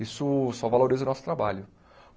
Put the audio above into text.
Isso só valoriza o nosso trabalho.